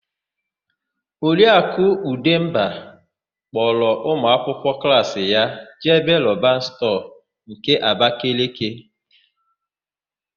Oriakụ Ụdemba kpọrọ ụmụakwụkwọ klaasi ya jee Roban stọọ nke Abakeleke.